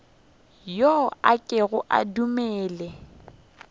yo a kego a dumele